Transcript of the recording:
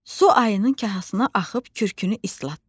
Su ayının kahasına axıb kürkünü islatdı.